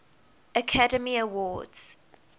academy awards